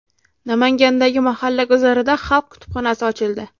Namangandagi mahalla guzarida xalq kutubxonasi ochildi.